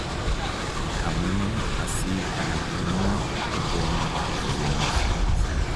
amune asi makimwa kotomo lewenisiet?